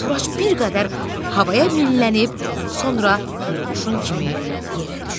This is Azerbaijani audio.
Turac bir qədər havaya millənib, sonra qurğuşun kimi yerə düşdü.